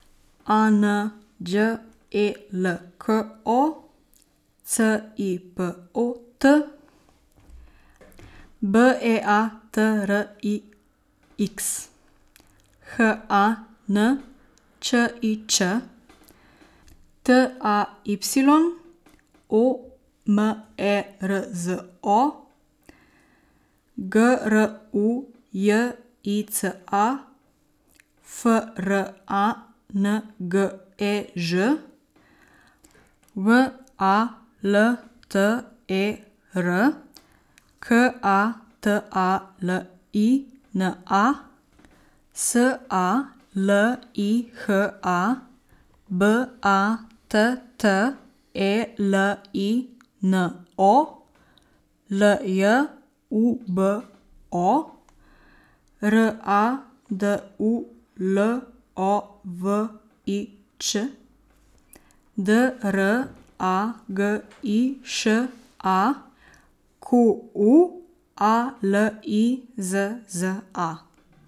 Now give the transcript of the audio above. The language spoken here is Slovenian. A N Đ E L K O, C I P O T; B E A T R I X, H A N Č I Č; T A Y, O M E R Z O; G R U J I C A, F R A N G E Ž; W A L T E R, K A T A L I N A; S A L I H A, B A T T E L I N O; L J U B O, R A D U L O V I Ć; D R A G I Š A, Q U A L I Z Z A.